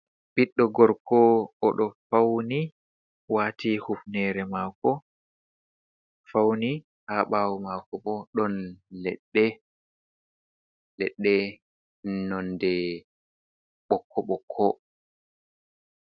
Ɓiɗɗo gorko, o ɗo fauni waati hufnere maako fauni. Ha ɓaawo maako bo ɗon leɗɗe, leɗɗe nonde ɓokko-ɓokko.